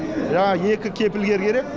жаңағы екі кепілгер керек